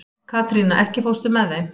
Katrína, ekki fórstu með þeim?